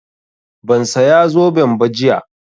Ban saya zoben ba jiya